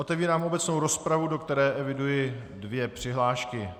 Otevírám obecnou rozpravu, do které eviduji dvě přihlášky.